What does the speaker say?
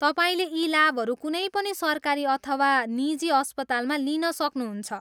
तपाईँले यी लाभहरू कुनै पनि सरकारी अथवा निजी अस्पतालमा लिन सक्नुहुन्छ।